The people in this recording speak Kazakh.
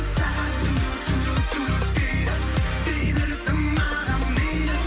сағат дейді дей берсін маған мейлі